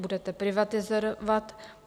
Budete privatizovat?